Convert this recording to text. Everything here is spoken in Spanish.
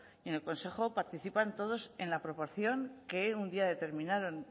en el consejo participan todos en la proporción que un día determinaron